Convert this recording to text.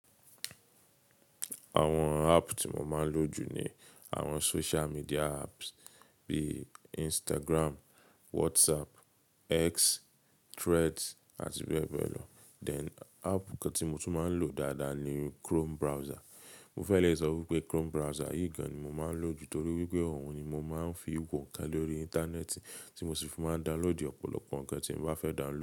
Àwọn app tí mo máa ń lò jù ni àwọn social media apps bíi Instagram, Whatsapp, X, Threads àti bẹ́ẹ̀ bẹ́ẹ̀ lò. Then app kan tí mo tún máa ń lò dáadáa ni Chrome browser. Mo fẹ́ lè sọ pé Chrome browser yìí gan ni mo máa ń lò jù torí wípé òun ni mo máa ń fi wò ńkan lórí íńtánẹ́ẹ̀tì tí mo sì fi máa download ọ̀pọ̀lọpọ̀ ńkan tí mo bá fẹ́ download.